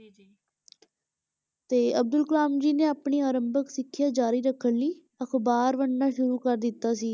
ਤੇ ਅਬਦੁਲ ਕਲਾਮ ਜੀ ਨੇ ਆਪਣੀ ਆਰੰਭਕ ਸਿੱਖਿਆ ਜਾਰੀ ਰੱਖਣ ਲਈ ਅਖ਼ਬਾਰ ਵੰਡਣਾ ਸ਼ੁਰੂ ਕਰ ਦਿੱਤਾ ਸੀ,